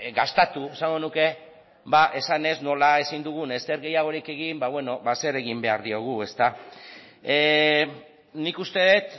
dastatu esango nuke esanez nola ezin dugun ezer gehiagorik egin ba zer egingo diogu nik uste dut